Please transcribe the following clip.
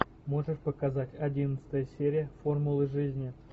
можешь показать одиннадцатая серия формула жизни